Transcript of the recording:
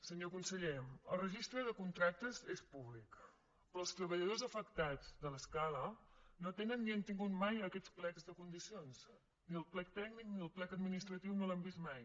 senyor conseller el registre de contractes és públic però els treballadors afectats de l’escala no tenen ni han tingut mai aquests plecs de condicions ni el plec tècnic ni el plec administratiu no els han vist mai